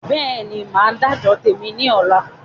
Bẹ́ẹ̀ni, Máa dà jọ tèmi ni ọ̀la